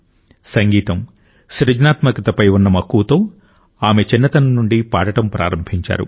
సంగీతం సృజనాత్మకతపై ఉన్న మక్కువతో ఆమె చిన్నతనం నుండి పాడటం ప్రారంభించారు